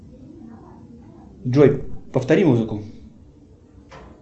джой повтори музыку